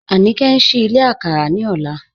Anike n ṣìí ìlẹ̀ àkàrà ní ọ̀lá